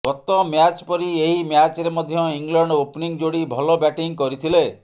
ଗତ ମ୍ୟାଚ୍ ପରି ଏହି ମ୍ୟାଚ୍ରେ ମଧ୍ୟ ଇଂଲଣ୍ଡ ଓପ୍ନିଂ ଯୋଡ଼ି ଭଲ ବ୍ୟାଟିଂ କରିଥିଲେ